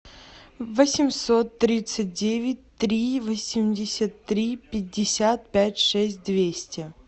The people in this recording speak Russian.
восемьсот тридцать девять три восемьдесят три пятьдесят пять шесть двести